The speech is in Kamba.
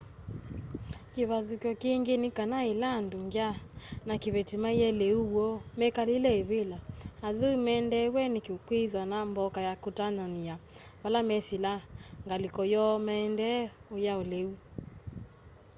kivathuky'o kingi ni kana ila andu ngya na kiveti maie liu woo mekalile ivila athui mendeew'e ni kwithwa na mboka ya kutanania vala mesilaa ngaliko yoo maendee uya liu